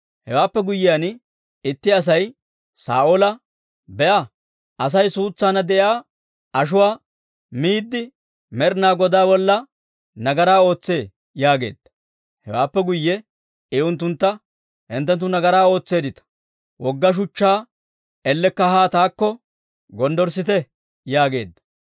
Hewaappe guyyiyaan, itti Asay Saa'oola, «Be'a; Asay suutsaanna de'iyaa ashuwaa miidde, Med'inaa Godaa bolla nagaraa ootsee» yaageedda. Hewaappe guyye I unttuntta, «Hinttenttu nagaraa ootseeddita; wogga shuchchaa ellekka haa taakko gonddorssite» yaageedda.